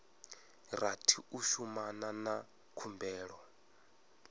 rathi u shumana na khumbelo